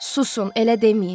Susun, elə deməyin.